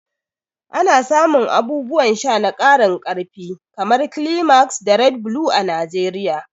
Ana samun abubuwan sha na karin karfi kamar Climax da Red Blue a Najeriya.